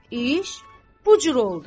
İş bu cür oldu.